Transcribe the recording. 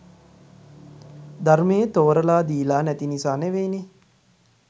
ධර්මයේ තෝරලා දීලා නැති නිසා නෙවෙයිනේ.